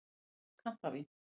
Við pöntuðum kampavín.